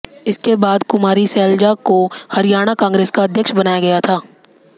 इसके बाद कुमारी सैलजा को हरियाणा कांग्रेस का अध्यक्ष बनाया गया था